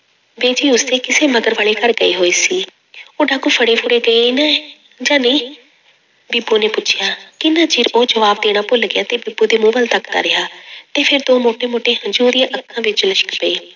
ਬੀਜੀ ਉਸਦੇ ਕਿਸੇ ਮਗਰ ਵਾਲੇ ਘਰ ਗਈ ਹੋਈ ਸੀ ਉਹ ਡਾਕੂ ਫੜੇ ਫੁੜੇ ਗਏ ਨੇ ਜਾਂ ਨਹੀਂ? ਬੀਬੋ ਨੇ ਪੁੱਛਿਆ, ਕਿੰਨਾ ਚਿਰ ਉਹ ਜਵਾਬ ਦੇਣਾ ਭੁੱਲ ਗਿਆ ਤੇ ਬੀਬੋ ਦੇ ਮੂੰਹ ਵੱਲ ਤੱਕਦਾ ਰਿਹਾ ਤੇ ਫਿਰ ਦੋ ਮੋਟੇ ਮੋਟੇ ਹੰਝੂ ਉਹਦੀਆਂ ਅੱਖਾਂ ਵਿੱਚ ਲਿਸ਼ਕ ਪਏ।